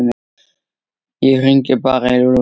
Ég hringi bara í Lúlla.